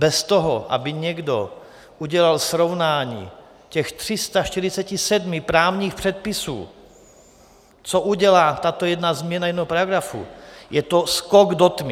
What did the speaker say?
Bez toho, aby někdo udělal srovnání těch 347 právních předpisů, co udělá tato jedna změna jednoho paragrafu, je to skok do tmy.